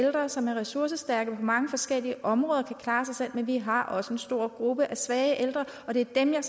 ældre som er ressourcestærke på mange forskellige områder og kan klare sig selv men vi har også en stor gruppe af svage ældre og det er dem jeg